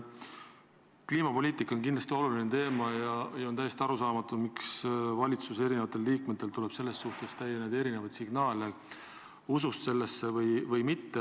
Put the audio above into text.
Kliimapoliitika on kindlasti oluline teema ja on täiesti arusaamatu, miks valitsuse eri liikmetelt tuleb erinevaid signaale, kas nad usuvad kliimamuutustesse või mitte.